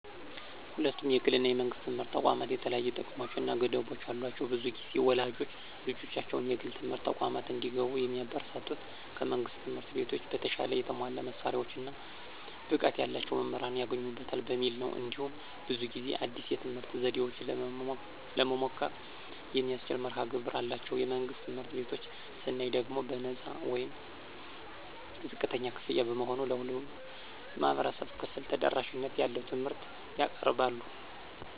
ሁለቱም የግል እና የመንግሥት ትምህርት ተቋማት የተለያዩ ጥቅሞች እና ገደቦች አሏቸው። ብዙ ጊዜ ወላጆች ልጆቻቸው የግል ትምህርት ተቋማት እንዲገቡ የሚያበረታቱት ከመንግሥት ትምህርት ቤቶች በተሻለ የተሟላ መሳሪያዎች እና ብቃት ያላቸው መምህራን ይገኙበታል በሚል ነው። እንዲሁም ብዙ ጊዜ አዲስ የትምህርት ዘዴዎችን ለመሞከር የሚያስችል መርሀ ግብር አላቸው። የመንግሥት ትምህርት ቤቶችን ስናይ ደግሞ በነፃ ወይም ዝቅተኛ ክፍያ በመሆኑ ለሁሉም የህብረተሰብ ክፍል ተደራሽነት ያለው ትምህርት ያቀርባሉ።